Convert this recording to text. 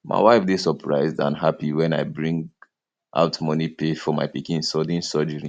my wife dey surprised and happy wen i bring bring out money pay for my pikin sudden surgery